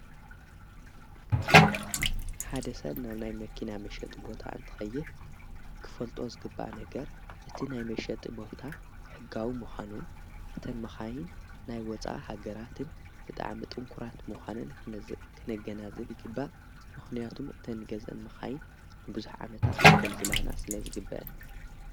ሓደ ሰብ ናብ ናይ መኪና መሸጥ ቦታ እንትኸይድ ክፈልጦ ዝግባእ ነገር እቲ ናይ መሸጥ ቦታ ሕጋዊ ምዃኑ እተን መኻይን ናይ ወፃ ሃገራትን ብጥዓም ጥንኲራት ምዃነን ኽነገና ዝብ ይግባእ ምኾንያቱም እተን ገዘን መኻይን ንብዙኅ ዓመታት ኸገልግላና ስለ ዝግበአን።